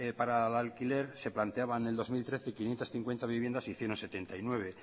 para el alquiler se planteaba en el dos mil trece quinientos cincuenta viviendas y hicieron setenta y nueve